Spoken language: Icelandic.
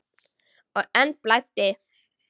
Og enn blæddi.